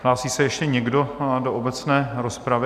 Hlásí se ještě někdo do obecné rozpravy?